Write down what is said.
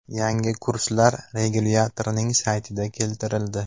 Yangi kurslar regulyatorning saytida keltirildi .